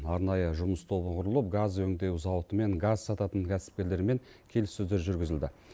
арнайы жұмыс тобы құрылып газ өңдеу зауытымен газ сататын кәсіпкерлермен келіссөздер жүргізілді